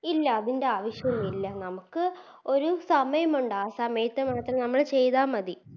ഇല്ല അതിൻറെ അവശ്യോന്നുല്ല നമുക്ക് ഒര് സമയമുണ്ട് ആ സമയത്ത് മാത്രം നമ്മള് ചെയ്ത മതി